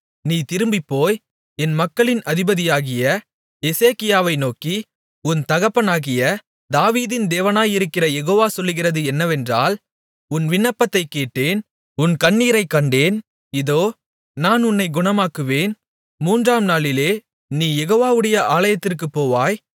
நீ திரும்பிப்போய் என் மக்களின் அதிபதியாகிய எசேக்கியாவை நோக்கி உன் தகப்பனாகிய தாவீதின் தேவனாயிருக்கிற யெகோவ சொல்லுகிறது என்னவென்றால் உன் விண்ணப்பத்தைக் கேட்டேன் உன் கண்ணீரைக் கண்டேன் இதோ நான் உன்னைக் குணமாக்குவேன் மூன்றாம் நாளிலே நீ யெகோவவுடைய ஆலயத்திற்குப் போவாய்